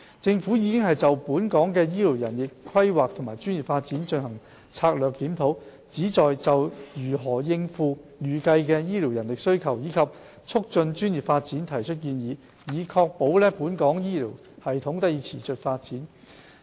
政府已就本港的醫療人力規劃和專業發展進行策略檢討，旨在就如何應付預計的醫療人力需求，以及促進專業發展提出建議，以確保本港醫療系統得以持續發展。